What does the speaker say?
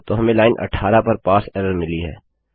तो हमें लाइन 18 पर पारसे एरर मिली है